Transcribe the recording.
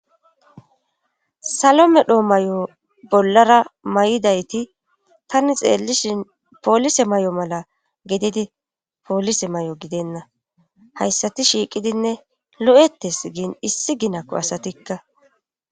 salo medhoo may7o bollara may7idayti tani xeellishin poolise may7o mala gedidi poolise may7o gidenna hayssati shiiqidinne lo7ettes giin issi ginakko asatikka